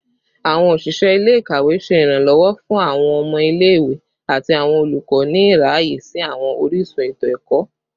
Awọn oṣiṣẹ ile-ikawe ṣe iranlọwọ fun awọn ọmọ ile-iwe ati awọn olukọ ni iraye si awọn orisun eto-ẹkọ